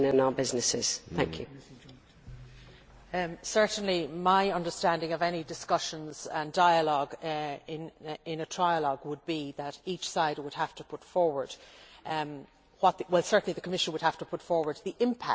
Certainly my understanding of any discussions and dialogue in the trialogue will be that each side would have to put forward well certainly the Commission would have to put forward the impact that cuts would have in the different areas.